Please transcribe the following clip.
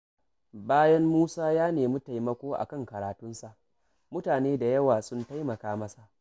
Bayan Musa ya nemi taimako a kan karatunsa, mutane da yawa sun taimaka masa.